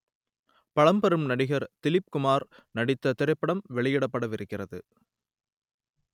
பழம்பெரும் நடிகர் திலீப் குமார் நடித்த திரைப்படம் வெளியிடப்படவிருக்கிறது